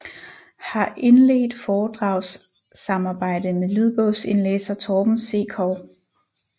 Har indledt foredragssamarbejde med lydbogsindlæser Torben Sekov